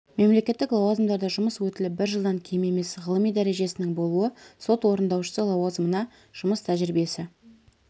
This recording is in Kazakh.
мемлекеттік лауазымдарда жұмыс өтілі бір жылдан кем емес ғылыми дәрежесінің болуы сот орындаушысы лауазымына жұмыс тәжірибесі